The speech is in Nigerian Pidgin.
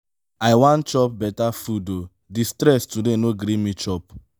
i wan chop beta food o di stress today no gree me chop.